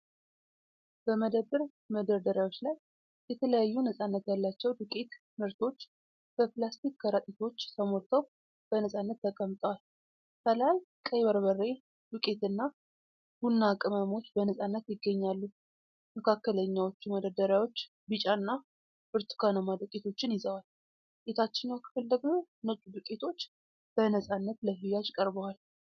በመደብር መደርደሪያዎች ላይ የተለያዩ ነፃነት ያላቸው ዱቄት ምርቶች በፕላስቲክ ከረጢቶች ተሞልተው በነፃነት ተቀምጠዋል። ከላይ ቀይ በርበሬ ዱቄትና ቡናማ ቅመሞች በነፃነት ይገኛሉ። መካከለኛዎቹ መደርደሪያዎች ቢጫና ብርቱካናማ ዱቄቶችን ይዘዋል። የታችኛው ክፍል ደግሞ ነጭ ዱቄቶች በነፃነት ለሽያጭ ቀርበዋል።